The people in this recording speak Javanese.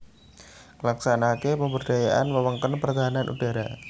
Nglaksanakaké pemberdayaan wewengkon pertahanan udhara